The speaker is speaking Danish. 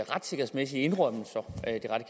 retssikkerhedsmæssige indrømmelser